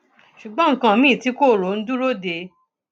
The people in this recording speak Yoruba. ṣùgbọn nǹkan mìín tí kò rò ń dúró dè é